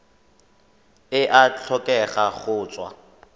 e a tlhokega go tswa